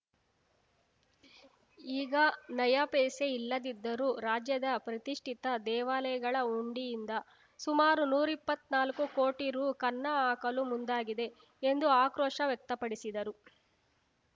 ಈಗ ನಯಾ ಪೈಸೆ ಇಲ್ಲದಿದ್ದರೂ ರಾಜ್ಯದ ಪ್ರತಿಷ್ಠಿತ ದೇವಾಲಯಗಳ ಹುಂಡಿಯಿಂದ ಸುಮಾರು ನೂರ್ ಇಪ್ಪತ್ನಾಲ್ಕು ಕೋಟಿ ರು ಕನ್ನ ಹಾಕಲು ಮುಂದಾಗಿದೆ ಎಂದು ಆಕ್ರೋಶ ವ್ಯಕ್ತಪಡಿಸಿದರು